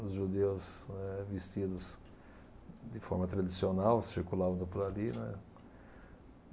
Os judeus eh vestidos de forma tradicional circulavam então por ali, né.